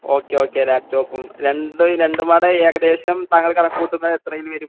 Okay okay ലാപ്ടോപ്പും. രണ്ടും, രണ്ടുംകൂടി ഏകദേശം താങ്കൾ കണക്കു കൂട്ടുന്നത് എത്രയിൽ വരും?